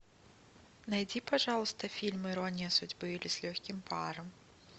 найди пожалуйста фильм ирония судьбы или с легким паром